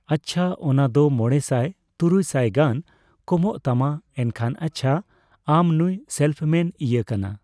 ᱟᱪᱪᱷᱟ ᱚᱱᱟ ᱫᱚ ᱯᱟᱸᱢᱚᱲᱮ ᱛᱩᱨᱩᱭ ᱥᱟᱭ ᱜᱟᱱ ᱠᱚᱢᱚᱜ ᱛᱟᱢᱟ ᱮᱱᱠᱷᱟᱱ ᱟᱪᱪᱷᱟ ᱟᱢ ᱱᱩᱭ ᱥᱮᱞᱯᱷ ᱢᱮᱱ ᱤᱭᱟᱹ ᱠᱟᱱᱟ ᱾